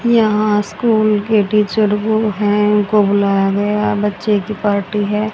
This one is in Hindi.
यहां स्कूल के टीचर्स वो हैं उनको बुलाया गया है बच्चे की पार्टी है।